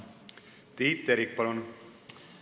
Tiit Terik, palun!